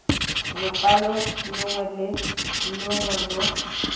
lokwalo longwe le longwe lo